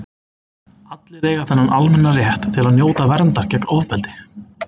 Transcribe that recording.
allir eiga þennan almenna rétt til að njóta verndar gegn ofbeldi